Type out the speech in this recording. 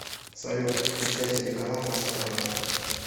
салют включай телеканал матч страна